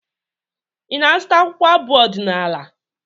Ị na-azụta akwụkwọ abụ ọdịnaala?